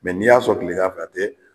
n'i y'a sɔ tilegan fɛ a te